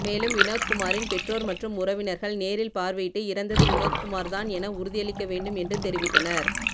மேலும் வினோத்குமாரின் பெற்றோர் மற்றும் உறவினர்கள் நேரில் பார்வையிட்டு இறந்தது வினோத்குமார் தான் என உறுதியளிக்க வேண்டும் என்று தெரிவித்தனர்